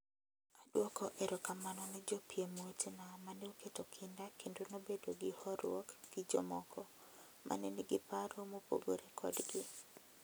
Adwoko erokamano ne jopiem wetena mane oketo kinda kendo nobedo gi horuok gi jomoko, mane nigi paro mopogore kodgi.